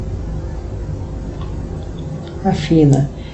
афина